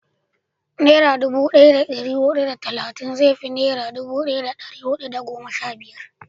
nera dubu daya da dari hudu da talatin zai fi nera dubu daya da dari hudu da goma sha biyar